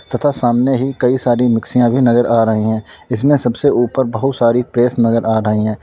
तथा सामने ही कई सारी मिक्सिया भी नजर आ रही हैं इसमें सबसे ऊपर बहुत सारी प्रेस नजर आ रही है।